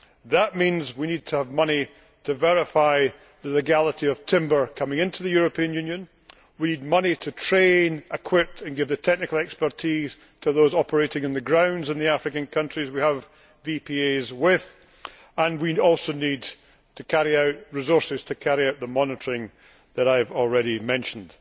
That means we need to have money to verify the legality of timber coming into the European Union, we need money to train, equip and give the technical expertise to those operating in the African countries we have VPAs with, and we also need resources to carry out the monitoring that I have already mentioned.